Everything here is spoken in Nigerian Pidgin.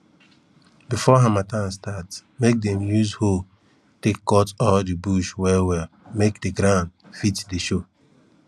before harmattan start make dem use hoe take cut all de bush well well make de ground fit dey show